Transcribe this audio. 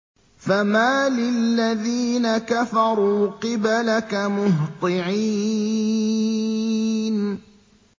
فَمَالِ الَّذِينَ كَفَرُوا قِبَلَكَ مُهْطِعِينَ